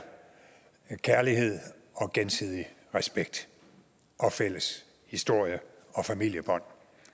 kærlighed og gensidig respekt og fælles historie og familiebånd